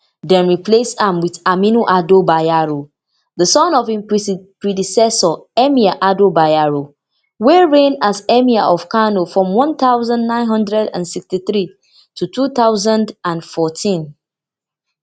dem replace am wit aminu ado bayero di son of im predecessor emir ado bayero wey reign as emir of kano from one thousand, nine hundred and sixty-three to two thousand and fourteen